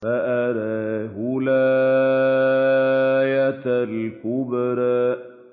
فَأَرَاهُ الْآيَةَ الْكُبْرَىٰ